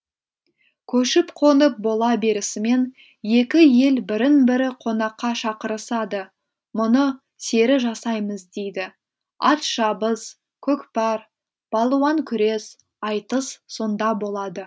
көшіп қонып бола берісімен екі ел бірін бірі қонаққа шақырысады мұны сері жасаймыз дейді ат шабыс көкпар балуан күрес айтыс сонда болады